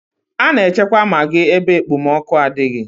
A na-echekwa magị ebe ekpomọkụ adịghị.